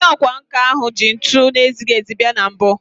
Onye ọkwá nkà ahụ ji ntu na-ezighị ezi bia na mbụ